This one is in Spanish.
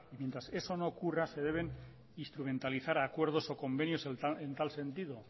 mientras eso no ocurra se deben instrumentalizar acuerdos o convenios en tal sentido